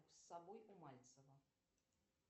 с собой у мальцева